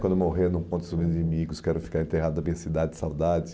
Quando morrer não conte aos meus inimigos, quero ficar enterrado na minha cidade de saudade.